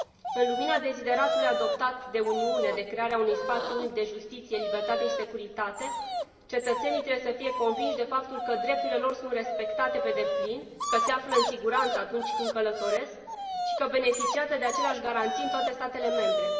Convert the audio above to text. În lumina dezideratului adoptat de Uniune de creare a unui spațiu unic de justiție, libertate și securitate, cetățenii trebuie să fie convinși de faptul că drepturile lor sunt respectate pe deplin, că se află în siguranță atunci când călătoresc și că beneficiază de aceleași garanții în toate statele membre.